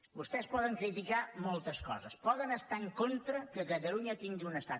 vostès poden criticar moltes coses poden estar en contra que catalunya tingui un estat